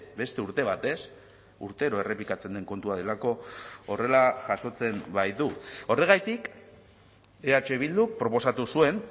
beste urte batez urtero errepikatzen den kontua delako horrela jasotzen baitu horregatik eh bilduk proposatu zuen